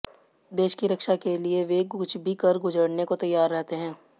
देश की रक्षा के लिए वे कुछ भी कर गुजरने को तैयार रहते हैं